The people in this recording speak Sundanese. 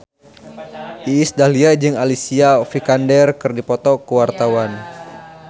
Iis Dahlia jeung Alicia Vikander keur dipoto ku wartawan